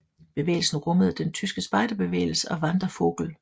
Bevægelsen rummede den tyske spejderbevægelse og Wandervogel